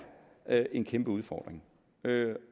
er en kæmpe udfordring